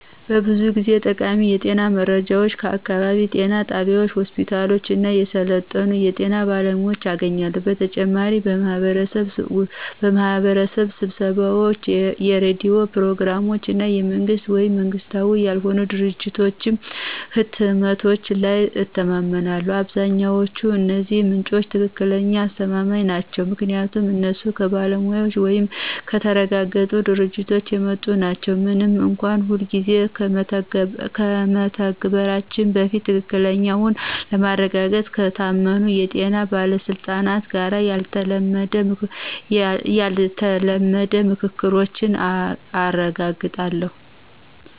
ብዙ ጊዜ ጠቃሚ የጤና መረጃን ከአካባቢው ጤና ጣቢያዎች፣ ሆስፒታሎች እና የሰለጠኑ የጤና ባለሙያዎች አገኛለሁ። በተጨማሪም በማህበረሰብ ስብሰባዎች፣ የሬዲዮ ፕሮግራሞች እና የመንግስት ወይም መንግሥታዊ ያልሆኑ ድርጅቶች ህትመቶች ላይ እተማመናለሁ። አብዛኛዎቹ እነዚህ ምንጮች ትክክለኛ አስተማማኝ ናቸው ምክንያቱም እነሱ ከባለሙያዎች ወይም ከተረጋገጡ ድርጅቶች የመጡ ናቸው፣ ምንም እንኳን ሁልጊዜ ከመተግበራቸው በፊት ትክክለኛነትን ለማረጋገጥ ከታመኑ የጤና ባለስልጣናት ጋር ያልተለመደ ምክሮችን አረጋግጣለሁ።